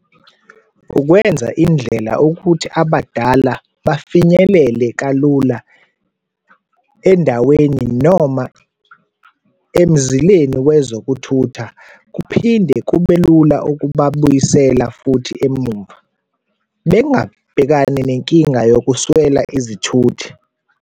Ukwenza indlela ukuthi abadala bafinyelele kalula endaweni noma emzileni wezokuthutha kuphinde kube lula okubabuyisela futhi emuva, bengabhekani nenkinga yokuswela izithuthi.